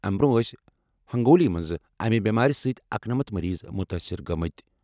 امہِ برٛونٛہہ ٲسۍ ہنٛگولی منٛز امہِ بٮ۪مارِ سۭتۍ اکنمتھ مٔریٖض مُتٲثِر گٔمٕتۍ۔